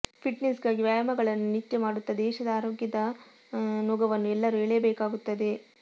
ಫಿಟ್ನೆಸ್ಗಾಗಿ ವ್ಯಾಯಾಮಗಳನ್ನು ನಿತ್ಯ ಮಾಡುತ್ತ ದೇಶದ ಆರೋಗ್ಯದ ನೊಗವನ್ನು ಎಲ್ಲರೂ ಎಳೆಯಬೇಕಾಗುತ್ತದೆ